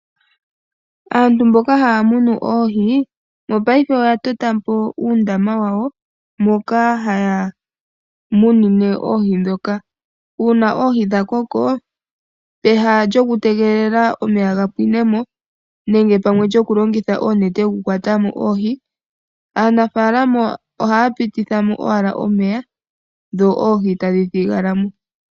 Aantu mboka haya munu oohi oya tota uudhiya, moka haya tula oohi. Uudhiya mbuka ohawu vulu oku kala momeya ethimbo ele. Ngele dha koko ohadhi vulu okulandithwa nenge dhi ninge oshiyelelwa.